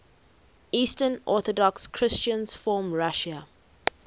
eastern orthodox christians from russia